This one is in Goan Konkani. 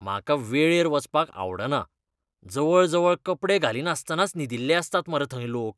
म्हाका वेळेर वचपाक आवडना. जवळजवळ कपडे घालिनासतनाच न्हिदिल्ले आसतात मरे थंय लोक!